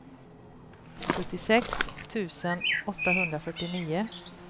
sjuttiosex tusen åttahundrafyrtionio